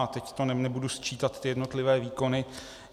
A teď to nebudu sčítat, ty jednotlivé výkony.